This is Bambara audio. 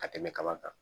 Ka tɛmɛ kaba kan